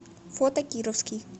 фото кировский